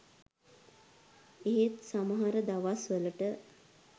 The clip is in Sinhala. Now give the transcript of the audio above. ඒත් සමහර දවස්වලට